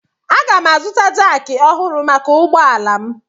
Aga m azụta jakị ọhụrụ maka ụgbọ ala m.